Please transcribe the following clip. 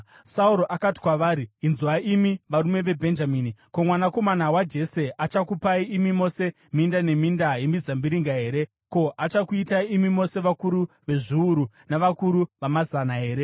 Sauro akati kwavari, “Inzwai, imi varume veBhenjamini! Ko, mwanakomana waJese achakupai imi mose minda neminda yemizambiringa here? Ko, achakuitai imi mose vakuru vezviuru navakuru vamazana here?